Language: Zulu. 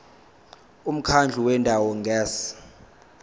umkhandlu wendawo ngerss